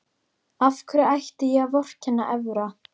Af hverju ætti ég að vorkenna Evra?